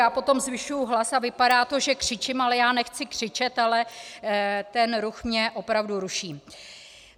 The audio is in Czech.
Já potom zvyšuji hlas a vypadá to, že křičím, ale já nechci křičet, ale ten ruch mě opravdu ruší.